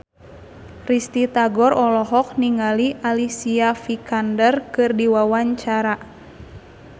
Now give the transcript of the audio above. Risty Tagor olohok ningali Alicia Vikander keur diwawancara